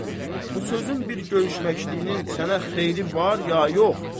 Bu sözün bir görüşməşliyinin sənə xeyri var ya yox?